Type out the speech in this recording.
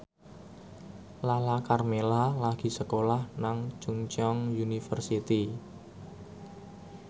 Lala Karmela lagi sekolah nang Chungceong University